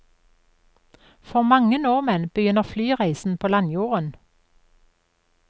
For mange nordmenn begynner flyreisen på landjorden.